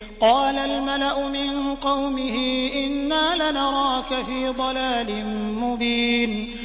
قَالَ الْمَلَأُ مِن قَوْمِهِ إِنَّا لَنَرَاكَ فِي ضَلَالٍ مُّبِينٍ